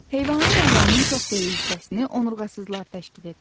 Heyvanlar aləminin çox böyük hissəsini onurğasızlar təşkil edir.